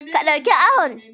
Ka ɗauki ahun.